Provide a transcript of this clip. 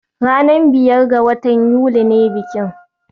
Ranar biyar ga watan Yuli ne bikin